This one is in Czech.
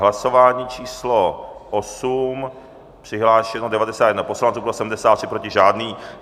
Hlasování číslo 8, přihlášeno 91 poslanců, pro 73, proti žádný.